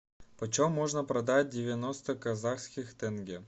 почем можно продать девяносто казахских тенге